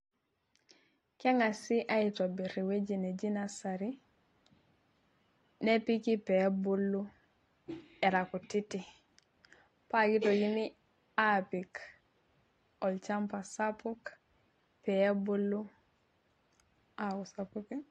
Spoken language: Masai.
kengasi aitobir ewueji neji nursery nepiki pee ebulu era kutiti. paa kitokini apik olchampa sapuk, pee ebulu aku sapukin.